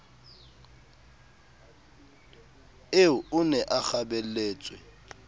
eo o ne a kgabelletswe